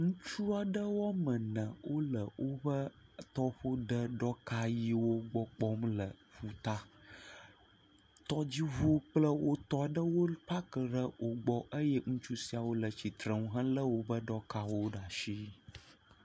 Ŋutsu aɖe woame ene wole woƒe tɔƒo de ɖɔka ʋiwo gbɔ kpɔm le ƒuta, tɔdziŋu kple wotɔ aɖewo paki ɖe wogbɔ eye ŋutsu siawo le tsitre nu helé woƒe ɖɔwo ɖe asi.